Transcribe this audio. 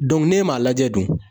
ne m'a lajɛ dun?